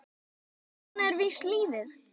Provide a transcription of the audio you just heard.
En svona er víst lífið.